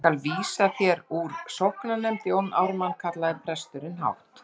Ég skal láta vísa þér úr sóknarnefnd Jón Ármann, kallaði presturinn hátt.